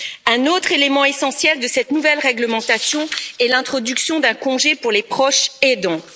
Un autre élément essentiel de cette nouvelle réglementation est l'introduction d'un congé pour les proches aidants.